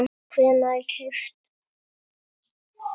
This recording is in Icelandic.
hvenær keypt?